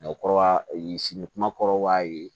Mɛ kɔrɔbaya sini kuma kɔrɔba ye